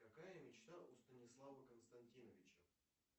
какая мечта у станислава константиновича